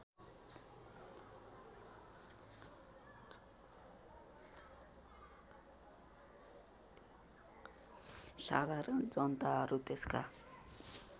साधारण जनताहरू त्यसका